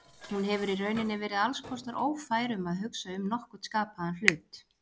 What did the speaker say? Hún hefur í rauninni verið alls kostar ófær um að hugsa um nokkurn skapaðan hlut.